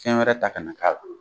Fɛn wɛrɛ ta kana' k'a la